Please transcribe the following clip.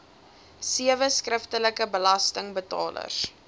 sewe skriftelike belastingbetalers